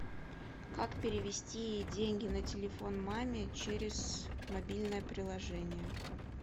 как перевести деньги на телефон маме через мобильное приложение